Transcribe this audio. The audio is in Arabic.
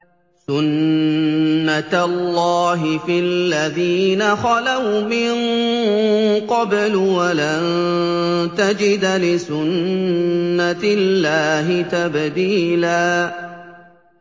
سُنَّةَ اللَّهِ فِي الَّذِينَ خَلَوْا مِن قَبْلُ ۖ وَلَن تَجِدَ لِسُنَّةِ اللَّهِ تَبْدِيلًا